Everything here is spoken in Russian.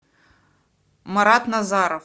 марат назаров